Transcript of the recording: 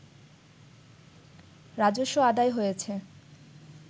রাজস্ব আদায় হয়েছে